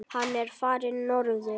Hann er farinn norður.